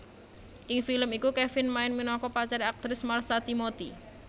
Ing film iku Kevin main minangka pacare aktris Marsha Timothy